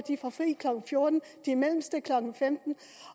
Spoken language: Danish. får fri klokken fjorten de mellemste klokken femten